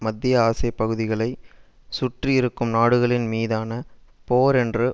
மத்திய ஆசிய பகுதிகளை சுற்றி இருக்கும் நாடுகளின் மீதான போர் என்ற